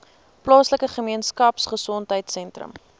plaaslike gemeenskapgesondheid sentrum